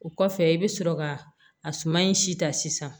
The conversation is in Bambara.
O kɔfɛ i bɛ sɔrɔ ka a suma in si ta sisan